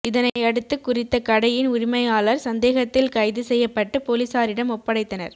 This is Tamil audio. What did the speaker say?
இதனையடுத்து குறித்த கடையின் உரிமையாளர் சந்தேகத்தில் கைது செய்யப்பட்டு பொலிஸாரிடம் ஒப்படைத்தனர்